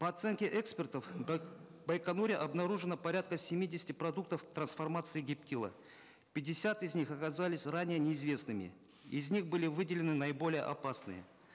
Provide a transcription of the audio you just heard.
по оценке экспертов в байконуре обнаружено порядка семидесяти продуктов трансформации гептила пятьдесят из них оказались ранее неизвестными из них были выделены наиболее опасные